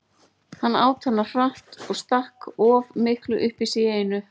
Hann át hana hratt og stakk of miklu upp í sig í einu.